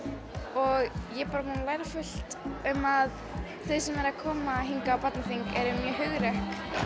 og ég er bara búin að læra fullt um að þau sem eru að koma hingað á barnaþing eru mjög hugrökk